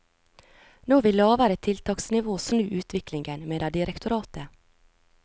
Nå vil lavere tiltaksnivå snu utviklingen, mener direktoratet.